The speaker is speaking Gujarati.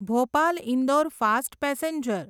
Bhopal Indore fast passenger